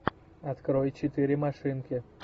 открой четыре машинки